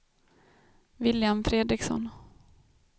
William Fredriksson